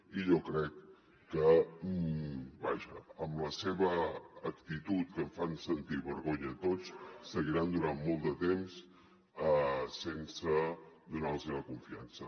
i jo crec que vaja amb la seva actitud que ens fa sentir vergonya a tots seguiran durant molt de temps sense donar los la confiança